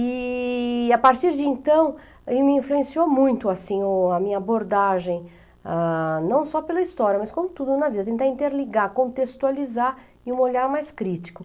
E, a partir de então, aí me influenciou muito, assim, o a minha abordagem, ah, não só pela história, mas com tudo na vida, tentar interligar, contextualizar e um olhar mais crítico.